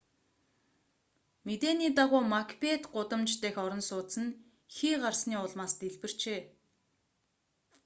мэдээний дагуу макбет гудамж дахь орон сууц нь хий гарсны улмаас дэлбэрчээ